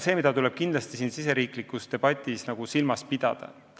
Seda tuleb kindlasti riigisiseses debatis silmas pidada.